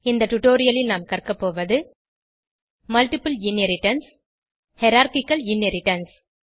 இந்த டுடோரியலில் நாம் கற்கபோவது மல்ட்டிபிள் இன்ஹெரிடன்ஸ் ஹைரார்ச்சிக்கல் இன்ஹெரிடன்ஸ்